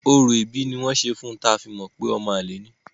Orò ìbí ni wọ́n ṣe fun ta fi mọ pé ọmọ àlè ni.